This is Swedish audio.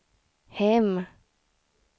hem